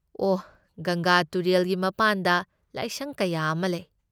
ꯑꯣꯍ, ꯒꯪꯒꯥ ꯇꯨꯔꯦꯜꯒꯤ ꯃꯄꯥꯟꯗ ꯂꯥꯏꯁꯪ ꯀꯌꯥ ꯑꯃ ꯂꯩ꯫